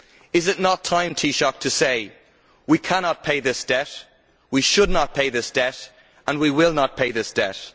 Is it not time, Taoiseach, to say we cannot pay this debt, we should not pay this debt and we will not pay this debt'?